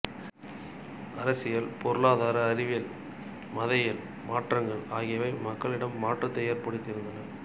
அரசியல் பொருளாதார அறிவியல் மத இயல் மாற்றங்கள் ஆகியவை மக்களிடம் மாற்றத்தை ஏற்படுத்தியிருந்தன